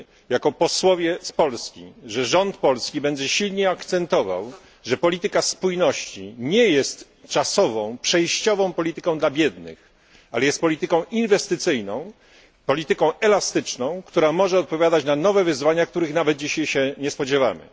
Jako posłowie z Polski bardzo liczymy na to, że rząd polski będzie silnie akcentował, i polityka spójności nie jest czasową, przejściową polityką dla biednych, ale jest polityką inwestycyjną, polityką elastyczną, która może odpowiadać na nowe wyzwania, których nawet dzisiaj się nie spodziewamy.